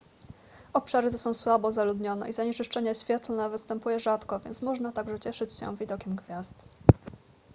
obszary te są słabo zaludnione i zanieczyszczenie świetlne występuje rzadko więc można także cieszyć się widokiem gwiazd